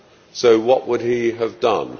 So what would he have done?